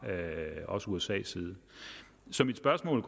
usas side så mit spørgsmål